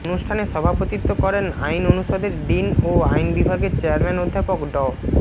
অনুষ্ঠানে সভাপতিত্ব করেন আইন অনুষদের ডিন ও আইন বিভাগের চেয়ারম্যান অধ্যাপক ড